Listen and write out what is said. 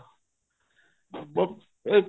ਬੱਸ ਇਹ